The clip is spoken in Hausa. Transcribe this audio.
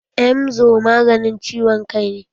Emzor maganin ciwon kai ne.